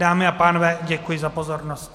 Dámy a pánové, děkuji za pozornost.